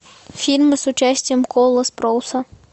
фильмы с участием коула спроуса